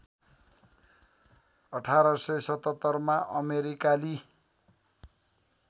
१८७७ मा अमेरिकाली